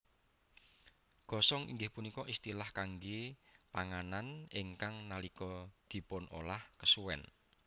Gosong inggih punika istilah kangge panganan ingkang nalika dipunolah kesuwen